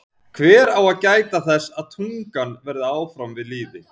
Hver á að gæta þess að tungan verði áfram við lýði?